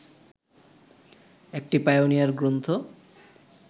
একটি পাইওনিয়ার গ্রন্থ